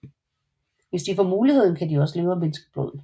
Hvis de får muligheden kan de også leve af menneskeblod